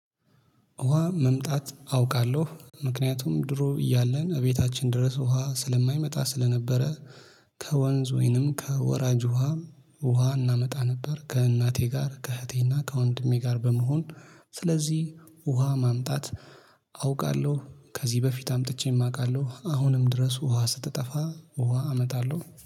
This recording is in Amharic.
ውሃ መምጣት አውቃለሁ ምክንያቱም ድሮ እያለን እቤታችን ድረስ ውሃ ስለማይመጣ ስለነበረ ከወንዝ ወይንም ከወራጅ ውሃ ውሃ እናመጣ ነበር ከእናቴ ጋር ከእህቴና ከወንድሜ ጋር በመሆን ስለዚህ ውሃ ማምጣት አውቃለሁ። ከዚህ በፊት አምጥቼም ማውቃለሁ አሁንም ድረስ ውሃ ስትጠፋ ውሃ አመጣለሁ